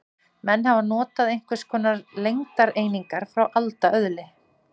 Menn hafa notað einhvers konar lengdareiningar frá alda öðli.